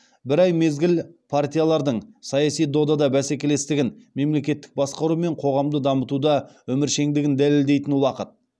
бір ай мезгіл партиялардың саяси додада бәсекелестігін мемлекеттік басқару мен қоғамды дамытуда өміршеңдігін дәлелдейтін уақыт